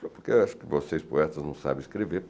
Porque eu acho que vocês poetas não sabem escrever.